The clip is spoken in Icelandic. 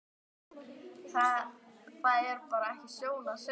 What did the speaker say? Það er bara ekki sjón að sjá strákgreyið.